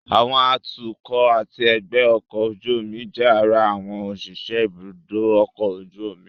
Àwọn atukọ̀ àti ẹgbẹ́ ọkọ̀ ojú omi jẹ́ ara àwọn òṣìṣẹ́ ibùdó ọkọ̀ ojú omi